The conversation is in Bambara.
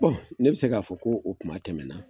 ne bI se k'a fɔ, ko o kuma tɛmɛna